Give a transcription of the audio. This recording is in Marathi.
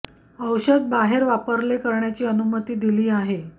औषध बाहेर वापरले करण्याची अनुमती दिली आहे अन्न अवलंबून